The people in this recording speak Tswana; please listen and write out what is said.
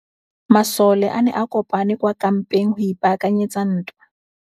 Masole a ne a kopane kwa kampeng go ipaakanyetsa ntwa.